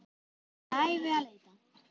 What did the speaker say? Verður alla ævi að leita.